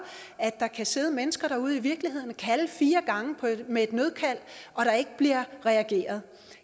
at der kan sidde mennesker derude i virkeligheden og kalde fire gange med et nødkald og der ikke bliver reageret